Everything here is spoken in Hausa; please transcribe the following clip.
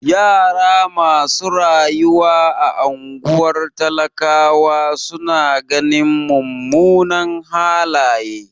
Yara masu rayuwa a ungwar talakawa su na ganin mumunan halaye.